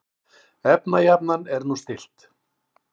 Efnajafnan er nú stillt.